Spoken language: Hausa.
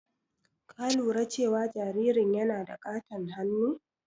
Ka lura cewa jaririn yana da ƙaton hannu?